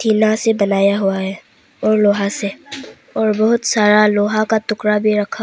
टिन्ना से बनाया हुआ है और लोहा से और बहुत सारा लोहा का टुकड़ा भी रखा--